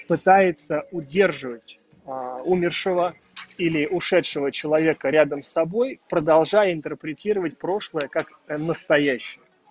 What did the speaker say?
пытается удерживать умершего или ушедшего человека рядом с собой продолжая интерпретировать прошлое как настоящее